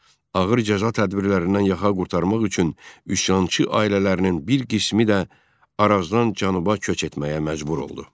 Ağır cəza tədbirlərindən yaxa qurtarmaq üçün üsyançı ailələrinin bir qismi də Arazdan cənuba köç etməyə məcbur oldu.